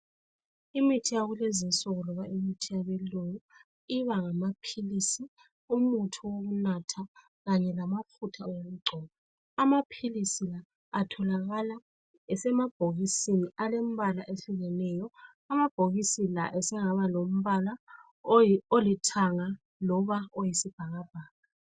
Imithi yakulezi insuku loba imithi yabelungu ibangamaphilisi, umuthi wokunatha kanye lamafutha okugcoba. Amaphilisi atholakala asemabhokisini alembala eyehlukeneyo. Amabhokisi layo asengaba lombala olithanga loba oyisibhakabhaka.